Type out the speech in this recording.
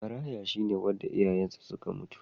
Maraya shi ne wanda iyayensa suka mutu.